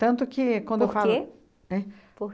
Tanto que quando eu falo... Por quê? É? Por